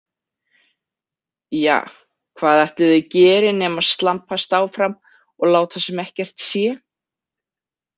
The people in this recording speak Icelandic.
Ja, hvað ætli þau geri nema slampast áfram og láta sem ekkert sé.